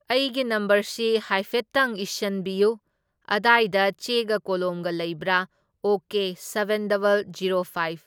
ꯑꯩꯒꯤ ꯅꯝꯕꯔꯁꯤ ꯍꯥꯏꯐꯦꯠꯇꯪ ꯏꯁꯟꯕꯤꯌꯨ, ꯑꯗꯥꯏꯗ ꯆꯦꯒ ꯀꯣꯂꯣꯝꯒ ꯂꯩꯕ꯭ꯔꯥ? Okay seven double zero five